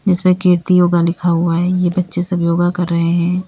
जिसमें कीर्ति योगा लिखा हुआ है ये बच्चे सब योगा कर रहे हैं।